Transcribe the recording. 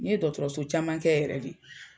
N ye dɔgɔtɔrɔso caman kɛ yɛrɛ de.